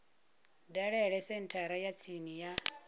dalele senthara ya tsini ya